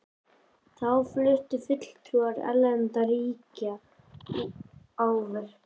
Þá fluttu fulltrúar erlendra ríkja ávörp.